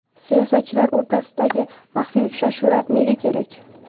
Siyosatchilar o‘rtasidagi maxfiy uchrashuvlar nega kerak?